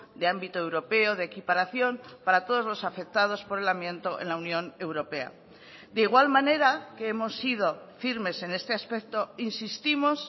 de ámbito europeo de equiparación para todos los afectados por el amianto en la unión europea de igual manera que hemos sido firmes en este aspecto insistimos